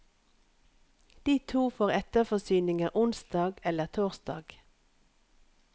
De to får etterforsyninger onsdag eller torsdag.